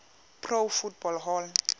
pro football hall